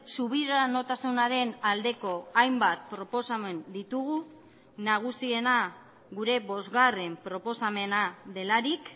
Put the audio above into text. subiranotasunaren aldeko hainbat proposamen ditugu nagusiena gure bosgarren proposamena delarik